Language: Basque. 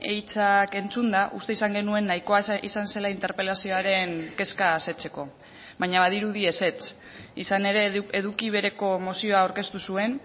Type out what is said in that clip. hitzak entzunda uste izan genuen nahikoa izan zela interpelazioaren kezka asetzeko baina badirudi ezetz izan ere eduki bereko mozioa aurkeztu zuen